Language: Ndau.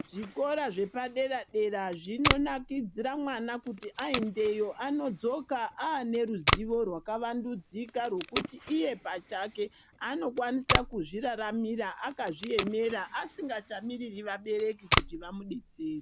Zvikora zvepadera dera zvinonakidzira mwana kuti aendeyo anodzoka aane ruzivo rwakawandudzika rwokuti iye pachake anokwanisa kuzviraramira akazviemera asingachamiriri vabereki kuti vamudetsere.